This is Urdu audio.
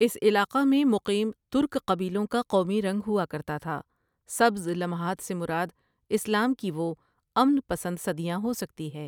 اس علاقہ میں مقیم ترک قبیلوں کا قومی رنگ ہوا کرتا تھا سبز لمحات سے مراد اسلام کی وہ امن پسند صدیاں ہو سکتی ہے۔